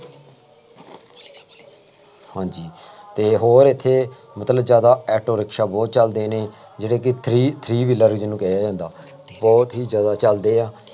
ਹਾਂਜੀ ਅਤੇ ਹੋਰ ਇੱਥੇ ਮਤਲਬ ਜ਼ਿਆਦਾ ਆਟੋ ਰਿਕਸ਼ਾ ਬਹੁਤ ਚੱਲਦੇ ਨੇ, ਜਿਹੜੇ ਕਿ three three wheeler ਉਹਨੂੰ ਕਿਹਾ ਜਾਂਦਾ, ਬਹੁਤ ਹੀ ਜ਼ਿਆਦਾ ਚੱਲਦੇ ਆ,